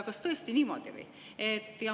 Kas tõesti on niimoodi või?